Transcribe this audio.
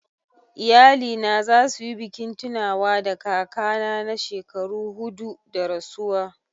Iyalina za su yi bikin tunawa da kakana na shekaru hudu da rasuwa..